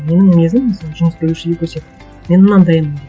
менің мінезім мысалы жұмыс берушіге көрсетіп мен мынандаймын деп